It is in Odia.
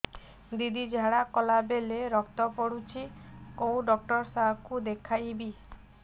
ଦିଦି ଝାଡ଼ା କଲା ବେଳେ ରକ୍ତ ପଡୁଛି କଉଁ ଡକ୍ଟର ସାର କୁ ଦଖାଇବି